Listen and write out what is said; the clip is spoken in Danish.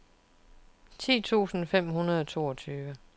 ti tusind fem hundrede og toogtyve